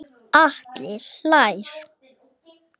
Atli hlær.